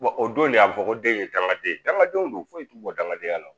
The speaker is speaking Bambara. o don de a fɔ ko den ye dankaden ye dankadenw don foyi t'u bɔ dangadenya la